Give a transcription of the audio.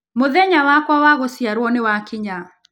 Mũthenya wakwa wa gũciarwo nĩ wakinya.